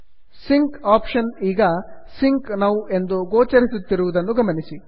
sync option ಈಗ sync now ಎಂದು ಗೋಚರಿಸುತ್ತಿರುವುದನ್ನು ಗಮನಿಸಿ